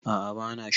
a a bana sha